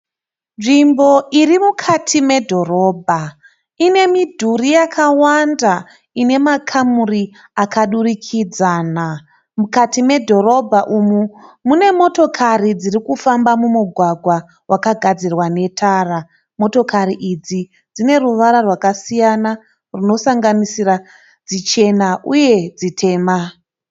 Nzvimbo irimukati me dhorobha ine midhuri yakawanda inemakamuri akadurikidzana. Mukati medhorobha umu mune motokari dzirikufamba mugwagwa wakagadzirwa netara Motokari idzi dzine ruvara rwakasiyana runosanganisira dzichena uye dzitema.